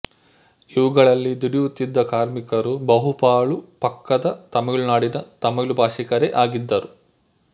ಇವುಗಳಲ್ಲಿ ದುಡಿಯುತ್ತಿದ್ದ ಕಾರ್ಮಿಕರು ಬಹುಪಾಲು ಪಕ್ಕದ ತಮಿಳುನಾಡಿನ ತಮಿಳುಭಾಷಿಕರೇ ಆಗಿದ್ದರು